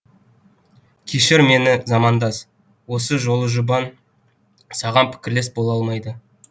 кешір мені замандас осы жолыжұбан саған пікірлес бола алмайды